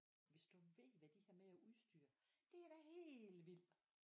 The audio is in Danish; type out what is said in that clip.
Hvis du ved hvad de har med af udstyr. Det da helt vildt!